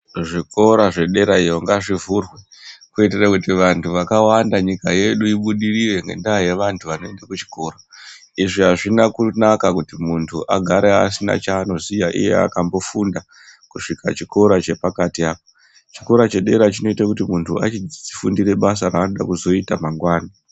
Zvikora zvederayo ngazvivhurwe kuitire kuti vantu vakawanda nyika yedu ibudirire ngendaa yevantu vanoende kuchikora. Izvi hazvina kunaka kuti muntu agare asina chaanoziya iye akambofunda kusvika chikora chepakati apa. Chikora chedera chinoite kuti muntu achifundire basa raanode kuzoita mangwana.